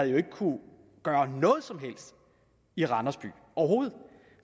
jo ikke kunne gøre noget som helst i randers